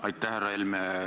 Aitäh!